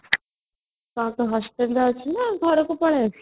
ଆଉ ତୁ hostel ରେ ଅଛୁ ନା ଘର କୁ ପଳେଈ ଆସିଲନୁ |